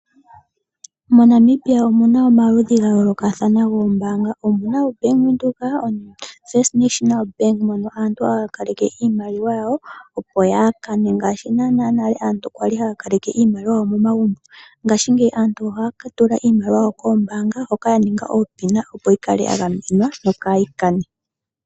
MoNamibia omu na omaludhi gayoolokathana goombaanga. Omu na oBank Windhoek noFirst National Bank mono aantu haya kaleke iimaliwa yawo, opo yaa kane. Ngaashi naana nale aantu ya li haya kaleke iimaliwa yawo momagumbo ngaashingeyi aantu ohaa tula iimaliwa yawo koombanga hoka ya ninga oonomola dhomehola , opo yi kaleya gamenwa nokaayi kane.